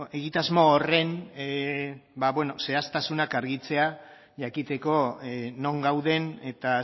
egitasmo horren zehaztasunak argitzea jakiteko non gauden eta